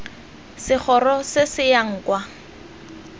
segoro se se yang kwa